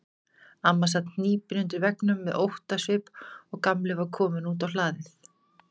Amma sat hnípin undir veggnum með óttasvip og Gamli var kominn út á hlaðið.